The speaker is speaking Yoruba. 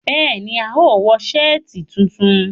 Béèni, a óò wo sáàtì funfun